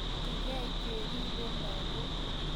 Kitoretigei keripei lakok